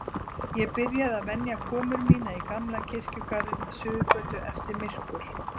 Ég byrjaði að venja komur mínar í gamla kirkjugarðinn við Suðurgötu eftir myrkur.